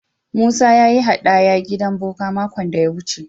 Musa ya yi haɗaya gidan boka makon da ya wuce.